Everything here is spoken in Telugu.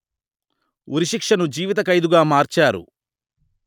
ఉరిశిక్షను జీవితఖైదుగా మార్చారు